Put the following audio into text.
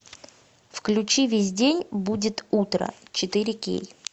включи весь день будет утро четыре кей